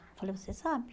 Eu falei, você sabe